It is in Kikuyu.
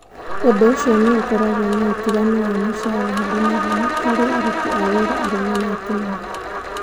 Ũndũ ũcio nĩ ũkoragwo na ũtiganu wa mũcara harĩ mathaa, harĩ aruti a wĩra arũme na atumia.